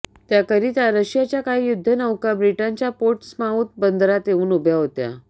त्याकरिता रशियाच्या काही युद्धनौका ब्रिटनच्या पोर्टस्माऊथ बंदरात येऊन उभ्या होत्या